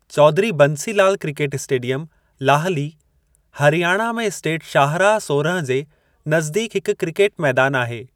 Chaudhary Bansi Lal cricket stadium Lahli, Haryana में state शाहराहु सोरहं जे नज़दीकु हिकु क्रिकेट मैदानु आहे।